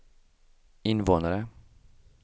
invånare